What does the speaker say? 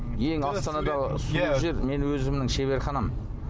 ең астанадағы сұлу жер менің өзімнің шеберханам